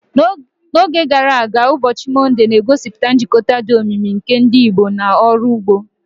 N'oge gara aga, ụbọchị Mọnde na-egosipụta njikọ dị omimi nke ndị Igbo na ọrụ ugbo.